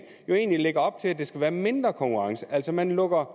egentlig lægger op til der skal være mindre konkurrence altså man lukker